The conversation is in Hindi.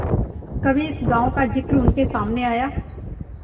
कभी इस गॉँव का जिक्र उनके सामने आया